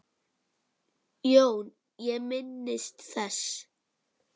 JÓN: Ég minnist þess.